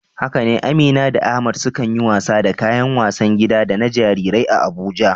Haka ne, Amina da Ahmad sukan yi wasa da kayan wasan gida da na jarirai a Abuja.